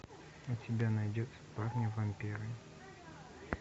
у тебя найдется парни вампиры